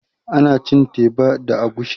Ana cin teba da agushi